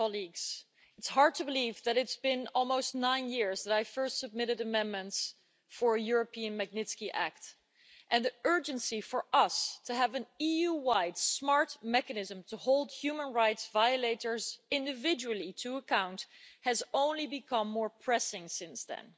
Mr President, it's hard to believe that it's been almost nine years since I first submitted amendments for a European Magnitsky Act, and the urgency for us of having an EU wide smart mechanism to hold human rights violators individually to account has only become more pressing since then.